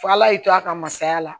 F'ala y'i to a ka masaya la